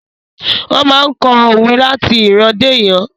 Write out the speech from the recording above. Wón máa n kọ́ òwe láti ìran dé ìran